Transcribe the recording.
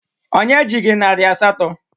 Onye ji gị narị asatọ?